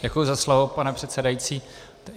Děkuji za slovo, pane předsedající.